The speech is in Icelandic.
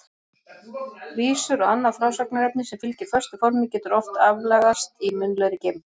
Vísur og annað frásagnarefni sem fylgir föstu formi getur oft aflagast í munnlegri geymd.